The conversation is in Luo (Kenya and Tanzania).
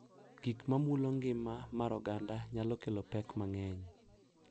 Gik ma mulo ngima mar oganda nyalo kelo pek mang’eny